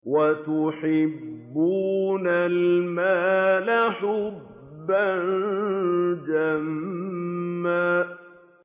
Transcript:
وَتُحِبُّونَ الْمَالَ حُبًّا جَمًّا